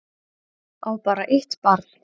Á bara eitt barn